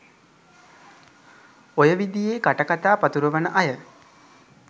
ඔය විදියේ කටකතා පතුරුවන අය